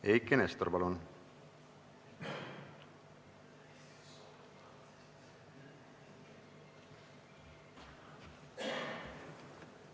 Eiki Nestor, palun!